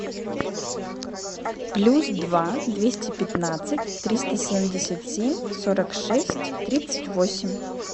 плюс два двести пятнадцать триста семьдесят семь сорок шесть тридцать восемь